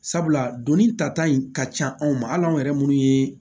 Sabula donnin ta ta in ka ca anw ma hali anw yɛrɛ minnu ye